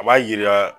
A b'a jira